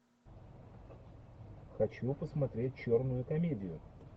хочу посмотреть черную комедию